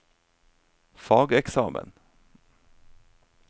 fageksamen